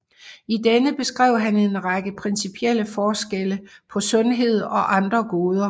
I denne beskrev han en række principielle forskelle på sundhed og andre goder